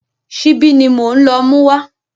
Ṣíbí ni mò ń lọ mú wá.